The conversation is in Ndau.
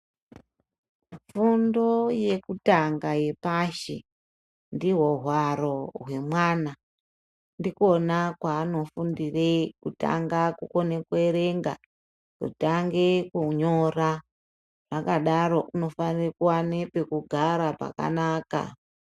Fundo yekutanga yepashi ndihwo hwaro hwemwana ndikona kwaanofundire kutanga kukone kuverenga, kutange kunyora. Zvakadaro unofanire kuvana pekugara pakanaka.